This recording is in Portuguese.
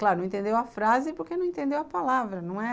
Claro, não entendeu a frase porque não entendeu a palavra, não é...